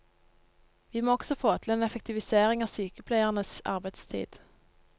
Vi må også få til en effektivisering av sykepleiernes arbeidstid.